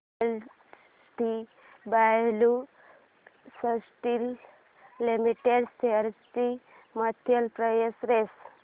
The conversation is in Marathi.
जेएसडब्ल्यु स्टील लिमिटेड शेअर्स ची मंथली प्राइस रेंज